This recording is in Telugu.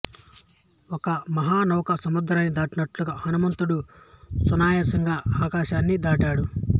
ఒక మహానౌక సముద్రాన్ని దాటినట్లుగా హనుమంతుడు సునాయాసంగా ఆకాశాన్ని దాటాడు